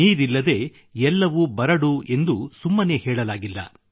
ನೀರಿಲ್ಲದೆ ಎಲ್ಲವೂ ಬರಡು ಎಂದು ಸುಮ್ಮನೇ ಹೇಳಲಾಗಿಲ್ಲ